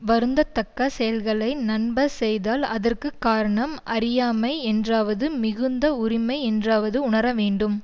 வருந்ததக்க செயல்களை நண்பர் செய்தால் அதற்கு காரணம் அறியாமை என்றாவது மிகுந்த உரிமை என்றாவது உணரவேண்டும்